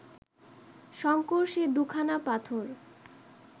শঙ্কর সে দু’খানা পাথর